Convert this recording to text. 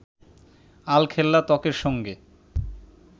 আলখেল্লা ত্বকের সঙ্গে